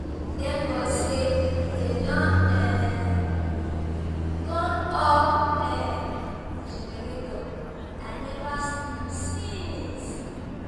Thank God say dey don um turn off um the generator, I never sleep since.